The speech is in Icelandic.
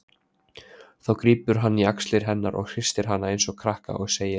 Þá grípur hann í axlir hennar og hristir hana einsog krakka og segir